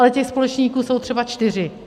Ale těch společníků jsou třeba čtyři.